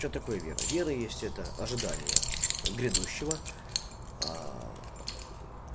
что такое вера вера есть это ожидание грядущего